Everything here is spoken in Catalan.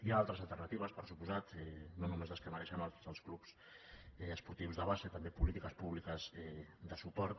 hi ha altres alternatives per suposat no només les que mereixen els clubs esportius de base també polítiques públiques de suport